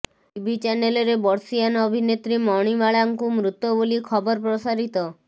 TV ଚ୍ୟାନେଲରେ ବର୍ଷୀୟାନ ଅଭିନେତ୍ରୀ ମଣିମାଳାଙ୍କୁ ମୃତ ବୋଲି ଖବର ପ୍ରସାରିତ